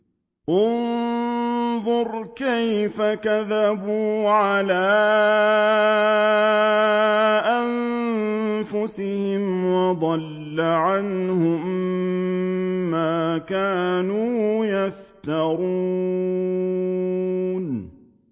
انظُرْ كَيْفَ كَذَبُوا عَلَىٰ أَنفُسِهِمْ ۚ وَضَلَّ عَنْهُم مَّا كَانُوا يَفْتَرُونَ